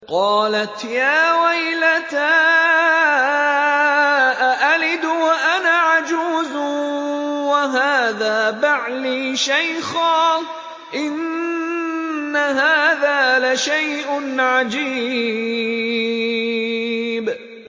قَالَتْ يَا وَيْلَتَىٰ أَأَلِدُ وَأَنَا عَجُوزٌ وَهَٰذَا بَعْلِي شَيْخًا ۖ إِنَّ هَٰذَا لَشَيْءٌ عَجِيبٌ